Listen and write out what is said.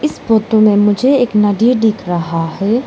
इस फोटो में मुझे एक नदी दिख रहा है।